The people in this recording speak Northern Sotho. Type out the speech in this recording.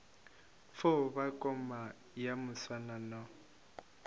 fo ba koma ya moswanano